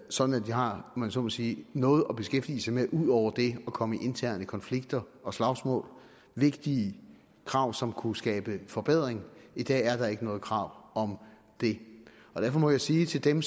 sådan at de har om man så må sige noget at beskæftige sig med ud over det at komme i interne konflikter og slagsmål vigtige krav som kunne skabe forbedring i dag er der ikke noget krav om det derfor må jeg sige til dem